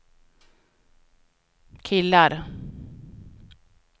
killar